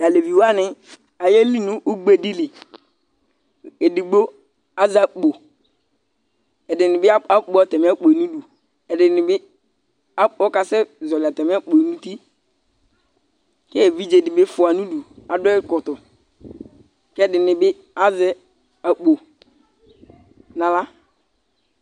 Tʋ alevi wanɩ ayeli nʋ ugbe dɩ li Edigbo azɛ akpo Ɛdɩnɩ bɩ akp akpɔ atamɩ akpo yɛ nʋ idu Ɛdɩnɩ bɩ akp ɔkasɛzɔɣɔlɩ atamɩ akpo nʋ uti kʋ evidze dɩ bɩ fʋa nʋ udu, adʋ ɛkɔtɔ kʋ ɛdɩnɩ bɩ azɛ akpo nʋ aɣla